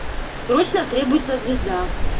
срочно требуется звезда